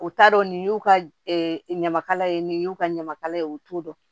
U t'a dɔn nin y'u ka ɲamakala ye nin y'u ka ɲamakala ye u t'o dɔn